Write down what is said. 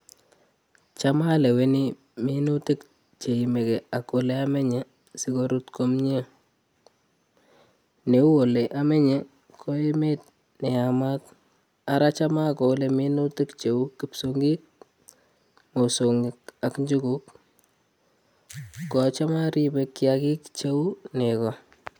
Cham aleweni minutik che yamekei ak ole amenye si korut komie, ne u ole amenye, ko emet ne yamat ara cham akole minutik cheu kipsongik, mosongik ak njuguk, ko cham aribe kiagik cheu nego.